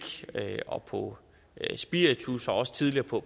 og på spiritus og også tidligere på